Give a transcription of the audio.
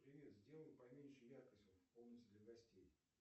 привет сделай поменьше яркость в комнате для гостей